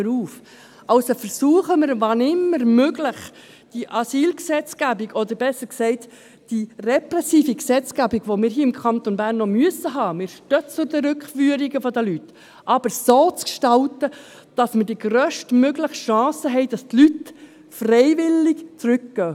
Also, versuchen wir, wenn immer möglich, diese Asylgesetzgebung, oder, besser gesagt, die repressive Gesetzgebung, die wir hier im Kanton Bern auch haben müssen – wir stehen zu den Rückführungen der Leute –, so zu gestalten, dass wir die grösstmögliche Chance haben, dass die Leute freiwillig zurückkehren.